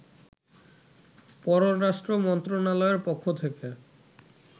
পররাষ্ট্র মন্ত্রণালয়ের পক্ষ থেকে